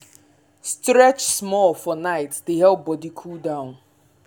stretch small for night dey help body cool down.